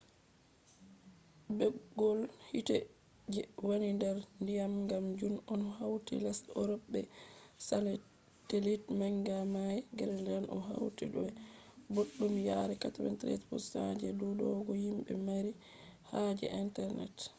bggol hite je wani der dyam kam jun on hauti lesde europe be satellite manga mai. greenland o hauti be bobbdum yari 93% je dudugo himbe mari haje internet